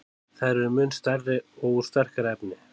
Þær eru mun stærri og úr sterkara efni.